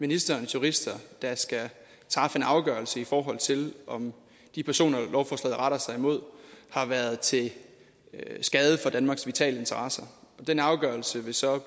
ministerens jurister der skal træffe en afgørelse i forhold til om de personer lovforslaget retter sig imod har været til skade for danmarks vitale interesser den afgørelse vil så i